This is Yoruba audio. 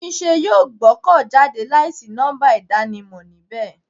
Túnmise yóò gbọ́dọ̀ jáde láì sí nọ́ḿbà ìdákọ̀mọ̀ níbẹ̀.